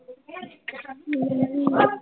ਹਮ